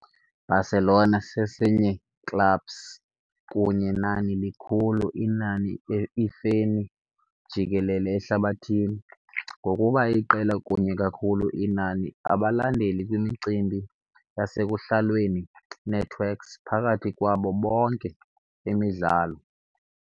Barcelona sesinye clubs kunye nani likhulu inani ifeni jikelele ehlabathini, ngokuba iqela kunye kakhulu inani abalandeli kwimicimbi yasekuhlalweni networks phakathi kwabo bonke emidlalo.